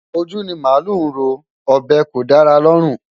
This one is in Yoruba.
Ojú ni màálù ń rọ́, ọ̀bẹ kò dára lọ́rùn.